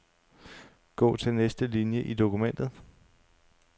Gå til næste linie i dokumentet.